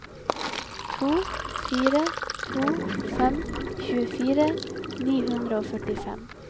to fire to fem tjuefire ni hundre og førtifem